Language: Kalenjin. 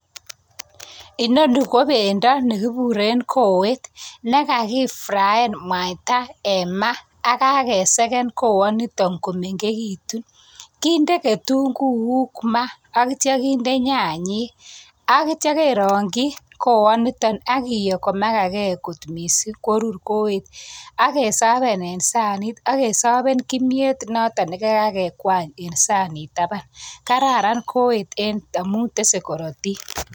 Inoni ko bendo nekikuren kowet, nekakifrayan mwaita eng maa ak kakesen kowanitok komengekitu , kinde kitunguik maa, akkitio kinde nyanyek, akitio kerong'chi kow anitok akiyo komagagei kot mising korur kowet. Ak kesavan eng sanit akesavan kimyet notok nekakekwan'y eng sanit. Kararan kowet amun tesei korotik.